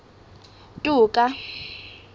toka